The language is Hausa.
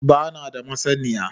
Ban da masaniya